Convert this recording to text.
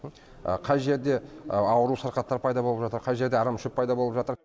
қай жерде ауру сырқаттар пайда болып жатыр қай жерде арамшөп пайда болып жатыр